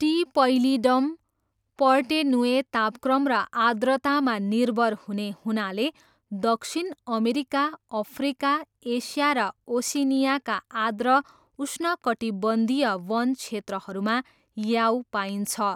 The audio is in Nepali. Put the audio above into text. टी पैलिडम पर्टेनुए तापक्रम र आर्द्रतामा निर्भर हुने हुनाले दक्षिण अमेरिका, अफ्रिका, एसिया र ओसिनियाका आर्द्र उष्णकटिबन्धीय वन क्षेत्रहरूमा याऊ पाइन्छ।